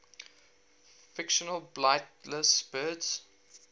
fictional flightless birds